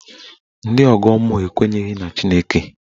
Ndị ọgọ mmụọ ekwenyeghi na Chineke.